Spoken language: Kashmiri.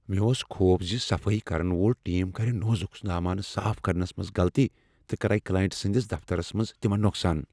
مےٚ اوس خوف زِ صفٲیی کرن وول ٹیم کرِ نازُک سامان صاف کرنس منٛز غلطی تہٕ کرِ کلائنٹ سٕندس دفترس منٛز تمن نقصان۔